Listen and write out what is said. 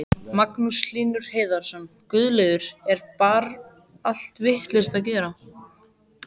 Magnús Hlynur Hreiðarsson: Guðlaugur, er bar allt vitlaust að gera?